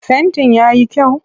Fentin ya yi kyau?